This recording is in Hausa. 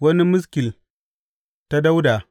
Wani maskil ta Dawuda.